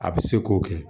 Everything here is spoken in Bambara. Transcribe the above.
A bɛ se k'o kɛ